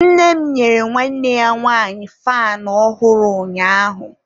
nne m nyere nwanne ya nwanyi faanụ ọ̀hụ̀rụ̀ ụnyaahụ.